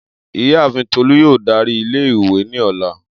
Iyaafin Tolu yoo dari ile-iwe ni ọla.